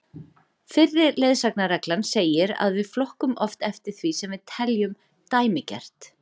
fyrri leiðsagnarreglan segir að við flokkum oft eftir því sem við teljum dæmigert